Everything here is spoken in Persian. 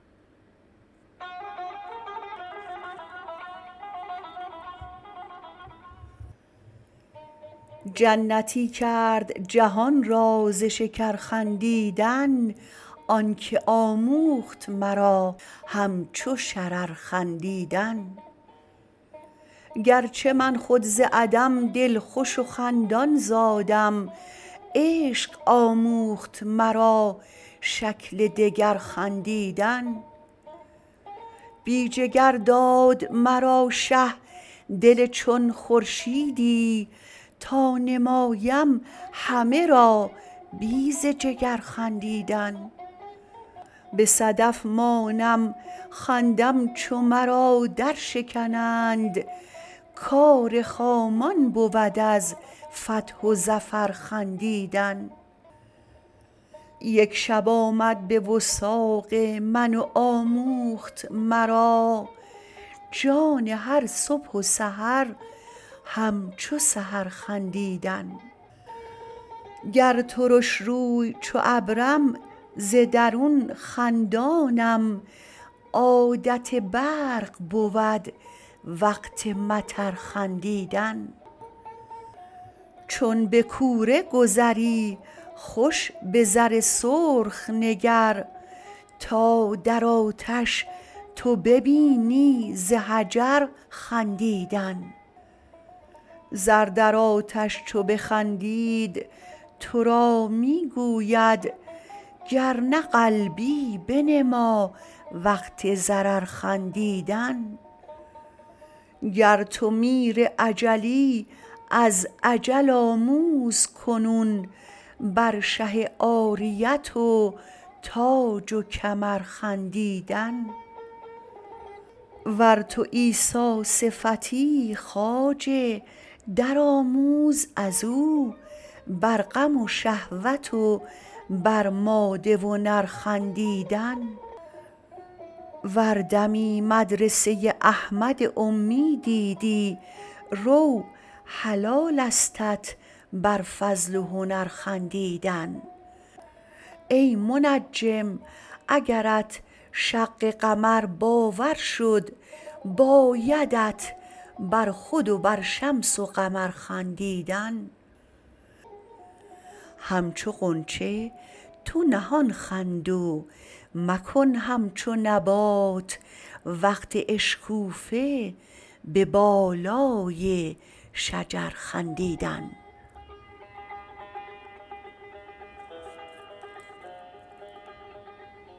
جنتی کرد جهان را ز شکر خندیدن آنک آموخت مرا همچو شرر خندیدن گرچه من خود ز عدم دلخوش و خندان زادم عشق آموخت مرا شکل دگر خندیدن بی جگر داد مرا شه دل چون خورشیدی تا نمایم همه را بی ز جگر خندیدن به صدف مانم خندم چو مرا درشکنند کار خامان بود از فتح و ظفر خندیدن یک شب آمد به وثاق من و آموخت مرا جان هر صبح و سحر همچو سحر خندیدن گر ترش روی چو ابرم ز درون خندانم عادت برق بود وقت مطر خندیدن چون به کوره گذری خوش به زر سرخ نگر تا در آتش تو ببینی ز حجر خندیدن زر در آتش چو بخندید تو را می گوید گر نه قلبی بنما وقت ضرر خندیدن گر تو میر اجلی از اجل آموز کنون بر شه عاریت و تاج و کمر خندیدن ور تو عیسی صفتی خواجه درآموز از او بر غم شهوت و بر ماده و نر خندیدن ور دمی مدرسه احمد امی دیدی رو حلالستت بر فضل و هنر خندیدن ای منجم اگرت شق قمر باور شد بایدت بر خود و بر شمس و قمر خندیدن همچو غنچه تو نهان خند و مکن همچو نبات وقت اشکوفه به بالای شجر خندیدن